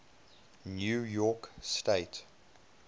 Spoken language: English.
new york state